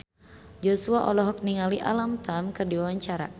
Joshua olohok ningali Alam Tam keur diwawancara